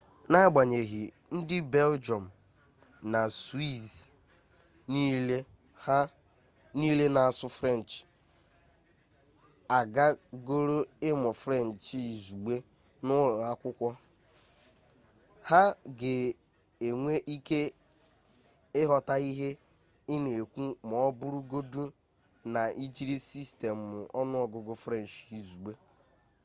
n'agbanyeghị ndị belgịọm na swiiz niile na-asụ frenchị agagọrọ ịmụ frenchị izugbe n'ụlọ akwụkwọ ha ga-enwe ike ịghọta ihe ị na-ekwu ma ọ bụrụgodu na ị jiri sistemụ ọnụọgụgụ frenchị izugbe